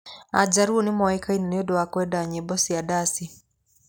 Ajaluo nĩ moĩkaine nĩ ũndũ wa kwenda nyĩmbo na ndaci.